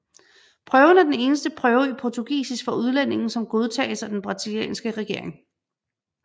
Prøven er den eneste prøve i portugisisk for udlændinge som godtages af den brasilianske regering